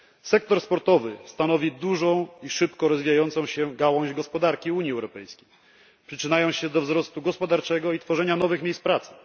Sektor sportowy stanowi dużą i szybko rozwijającą się gałąź gospodarki UE, przyczyniając się do wzrostu gospodarczego i tworzenia nowych miejsc pracy.